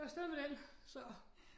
Så afsted med den så